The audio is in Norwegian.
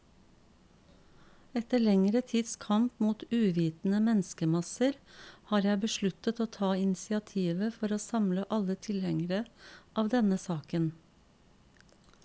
Etter lengre tids kamp mot uvitende menneskemasser, har jeg besluttet å ta initiativet for å samle alle tilhengere av denne saken.